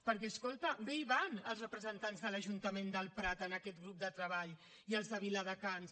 perquè escolta bé hi van els representants de l’ajuntament del prat a aquest grup de treball i els de viladecans